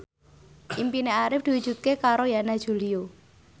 impine Arif diwujudke karo Yana Julio